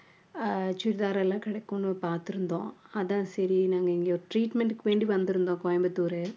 அஹ் chudithar எல்லாம் கிடைக்கும்ன்னு பார்த்திருந்தோம் அதான் சரி நாங்க இங்க treatment க்கு வேண்டி வந்திருந்தோம் கோயம்புத்தூரு